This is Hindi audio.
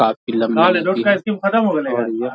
आपकी लंबी हो रही हैं।